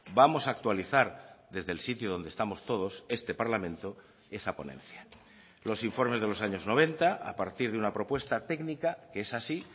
vamos a actualizar desde el sitio donde estamos todos este parlamento esa ponencia los informes de los años noventa a partir de una propuesta técnica que es así